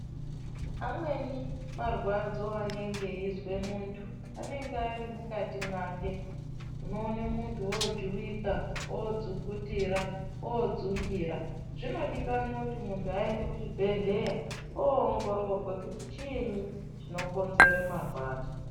Amweni marwadzo anonge eizwe munthu anonge ari mukathi mwake , unoone munthu oojuwika oodzukutira, oodzungira, zvinodikanwe kuthi munthu aende kuchibhedhleya oongororwe kuthi chiinyi chinokonzere marwadzo.